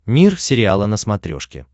мир сериала на смотрешке